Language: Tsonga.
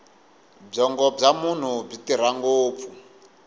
byongo bya munhu byi tirha ngopfu